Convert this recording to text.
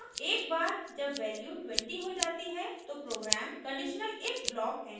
एकबार जब वैल्यू 20 हो जाती है तो program conditional if block enter करता है